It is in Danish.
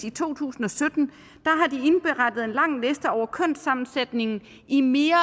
i to tusind og sytten indberettede en lang liste over kønssammensætningen i mere